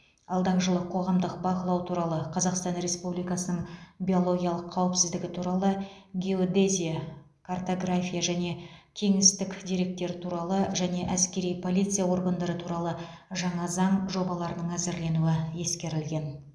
алдағы жылы қоғамдық бақылау туралы қазақстан республикасының биологиялық қауіпсіздігі туралы геодезия картография және кеңістіктік деректер туралы және әскери полиция органдары туралы жаңа заң жобаларының әзірленуі ескерілген